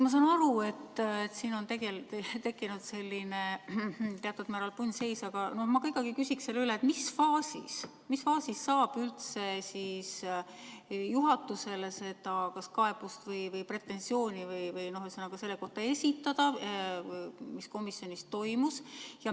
Ma saan aru, et siin on tekkinud selline teatud määral punnseis, aga ma ikkagi küsin üle, et mis faasis siis saab üldse esitada juhatusele kaebust või pretensiooni selle kohta, mis komisjonis toimus.